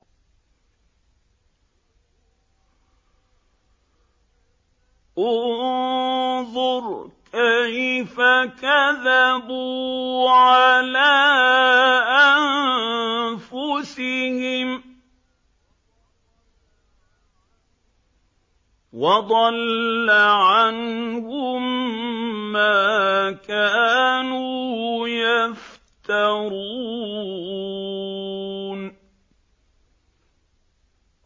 انظُرْ كَيْفَ كَذَبُوا عَلَىٰ أَنفُسِهِمْ ۚ وَضَلَّ عَنْهُم مَّا كَانُوا يَفْتَرُونَ